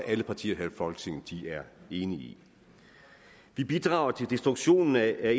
at alle partier her i folketinget er enige i vi bidrager til destruktionen af